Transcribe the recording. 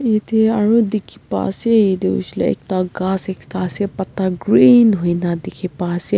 yate aro dikhi pai ase itu hoishe koile ghas ekta ase patta green hoi na dikhi pai ase.